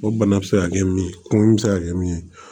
O bana bɛ se ka kɛ min ye kungo min bɛ se ka kɛ min ye